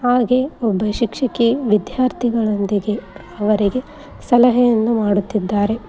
ಹಾಗೆ ಒಬ್ಬ ಶಿಕ್ಷಕಿ ವಿದ್ಯಾರ್ಥಿಗಳೊಂದಿಗೆ ಅವರಿಗೆ ಸಲಹೆಯನ್ನು ಮಾಡುತ್ತಿದ್ದಾರೆ.